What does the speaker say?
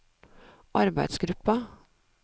arbeidsgruppa